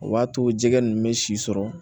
O b'a to jɛgɛ ninnu bɛ si sɔrɔ